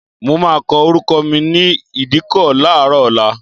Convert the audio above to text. Mo máa kọ orúkọ mi ní ìdíkọ̀ láàárọ̀ ọ̀la.